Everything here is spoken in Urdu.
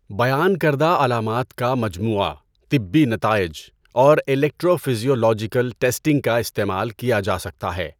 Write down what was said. بیان کردہ علامات کا مجموعہ، طبی نتائج، اور الیکٹرو فزیولوجیکل ٹیسٹنگ کا استعمال کیا جا سکتا ہے۔